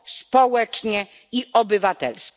społecznie i obywatelsko.